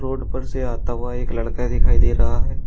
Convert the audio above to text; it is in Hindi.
रोड पर से आता हुआ एक लड़का दिखाई दे रहा है।